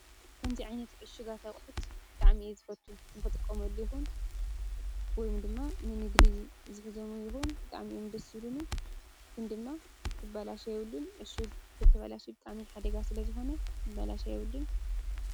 ከምዚ ኣኛት እሽጋ ኣቕሑት ደኣሚኢ ዝፈቱ ምኽ ንጥቆምሉ ይኹን ወይም ድማ ንንግዲ ዝፍዞሙ ይኹን ደኣሚዩምድ ሱሉኒ ክን ድማ ክበላሻ የብልን እሹግ ክትበላሽብ ቃሚ ኃደጋ ስለ ዝኾነ ክበላሻ የብልን።